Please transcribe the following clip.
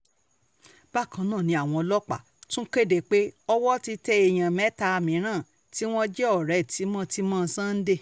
bákan náà ni àwọn ọlọ́pàá tún kéde pé owó ti tẹ èèyàn mẹ́ta mìíràn tí wọ́n jẹ́ ọ̀rẹ́ tímọ́-tímọ́ sunday